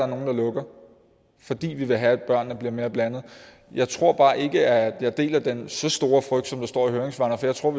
nogle der lukker fordi vi vil have at børnene bliver mere blandet jeg tror bare ikke at jeg deler den så store frygt som der står i høringssvarene for jeg tror